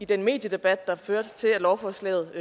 den mediedebat der førte til at lovforslaget